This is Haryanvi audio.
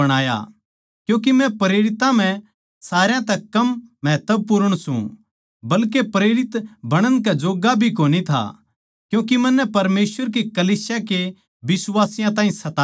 क्यूँके मै प्रेरितां म्ह सारया तै कम महत्वपूर्ण सूं बल्के प्रेरित बणण कै जोग्गा भी कोनी था क्यूँके मन्नै परमेसवर की कलीसिया के बिश्वासियाँ ताहीं सताया था